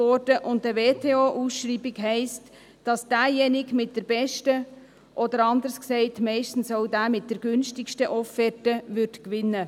Eine WTO-Ausschreibung heisst, dass derjenige mit der besten, oder, anders gesagt, meistens auch der mit der günstigsten Offerte gewinnt.